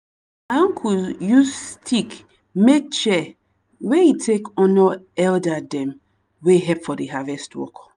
my uncle use stick make chair wey e take honour elder dem wey help for the harvest work.